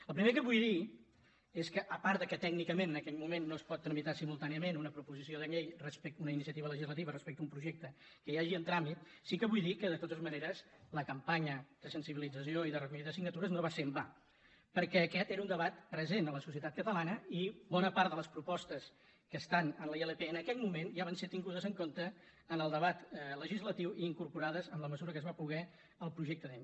el primer que vull dir és que a part que tècnicament en aquell moment no es pot tramitar simultàniament una proposició de llei una iniciativa legislativa respecte a un projecte que hi hagi en tràmit sí que vull dir que de totes maneres la campanya de sensibilització i de recollida de signatures no va ser en va perquè aquest era un debat present a la societat catalana i bona part de les propostes que estan a la ilp en aquell moment ja van ser tingudes en compte en el debat legislatiu i incorporades en la mesura que es va poder al projecte de llei